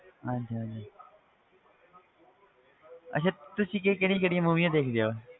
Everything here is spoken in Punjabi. ਹਾਂਜੀ ਹਾਂਜੀ ਅੱਛਾ ਤੁਸੀ ਕਿ~ ਕਿਹੜੀਆਂ ਕਿਹੜੀਆਂ movies ਦੇਖਦੇ ਹੋ,